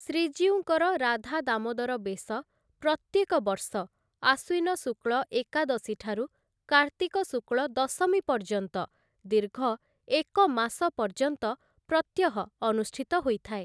ଶ୍ରୀଜୀଉଙ୍କର ରାଧା ଦାମୋଦର ବେଶ ପ୍ରତ୍ୟେକ ବର୍ଷ ଆଶ୍ୱିନ ଶୁକ୍ଳ ଏକାଦଶୀଠାରୁ କାର୍ତ୍ତିକ ଶୁକ୍ଳ ଦଶମୀ ପର୍ଯ୍ୟନ୍ତ, ଦୀର୍ଘ ଏକମାସ ପର୍ଯ୍ୟନ୍ତ ପ୍ରତ୍ୟହ ଅନୁଷ୍ଠିତ ହୋଇଥାଏ ।